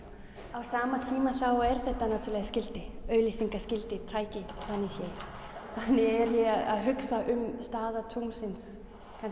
á sama tíma þá er þetta náttúrulega skilti auglýsingaskilti tæki þannig séð þannig er ég að hugsa um stöðu tunglsins